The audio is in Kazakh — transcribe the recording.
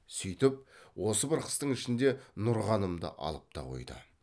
сүйтіп осы бір қыстың ішінде нұрғанымды алып та қойды